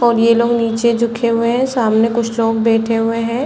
और ये लोग नीचे झुके हुए हैं सामने कुछ लोग बैठे हुए हैं।